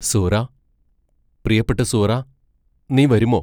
സുഹ്റാ പ്രിയപ്പെട്ട സുഹ്റാ നീ വരുമോ?